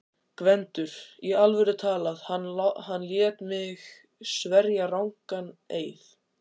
GVENDUR: Í alvöru talað: hann lét mig sverja rangan eið.